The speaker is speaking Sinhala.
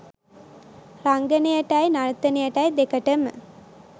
රංගනයටයි නර්තනයටයි දෙකටම